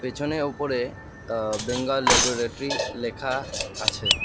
পিছনে উপরে এ্যাঁ বেঙ্গল ল্যাবরেটরি লেখা আছে।